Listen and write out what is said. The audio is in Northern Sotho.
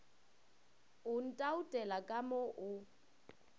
o ntoutela ka mo o